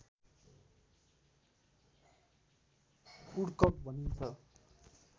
उडकक भनिन्छ